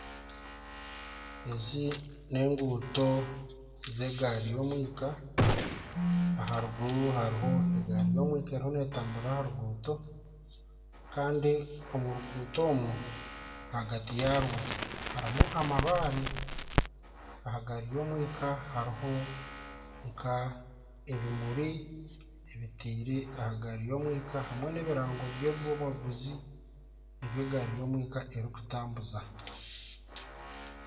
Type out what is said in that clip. Ezi n'enguuto z'egaari y'omwika. Aharuguru hariho egaari y'omwika eriho n'etamburira aha ruguuto. Kandi omu ruguuto omwo ahagati yaarwo harimu amabaare. Aha gaari y'omwika hariho nk'ebimuri ebitaire aha gaari y'omwika hamwe n'ebirango by'abaguzi ebi egaari y'omwika erikutambuuza.